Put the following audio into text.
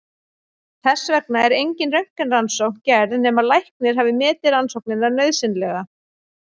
Þess vegna er engin röntgenrannsókn gerð nema læknir hafi metið rannsóknina nauðsynlega.